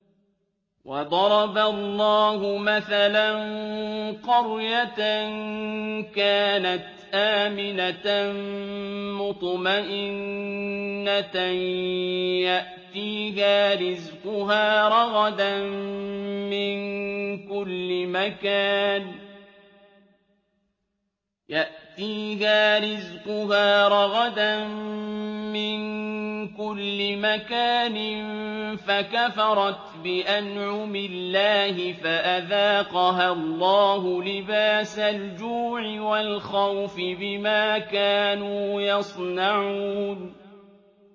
وَضَرَبَ اللَّهُ مَثَلًا قَرْيَةً كَانَتْ آمِنَةً مُّطْمَئِنَّةً يَأْتِيهَا رِزْقُهَا رَغَدًا مِّن كُلِّ مَكَانٍ فَكَفَرَتْ بِأَنْعُمِ اللَّهِ فَأَذَاقَهَا اللَّهُ لِبَاسَ الْجُوعِ وَالْخَوْفِ بِمَا كَانُوا يَصْنَعُونَ